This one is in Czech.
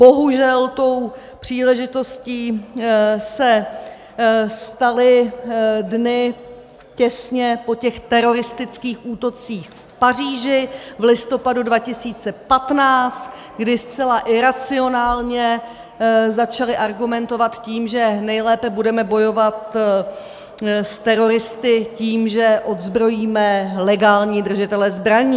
Bohužel tou příležitostí se staly dny těsně po těch teroristických útocích v Paříží v listopadu 2015, kdy zcela iracionálně začali argumentovat tím, že nejlépe budeme bojovat s teroristy tím, že odzbrojíme legální držitele zbraní.